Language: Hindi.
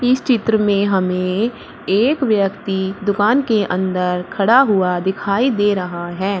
इस चित्र में हमें एक व्यक्ति दुकान के अंदर खड़ा हुआ दिखाई दे रहा है।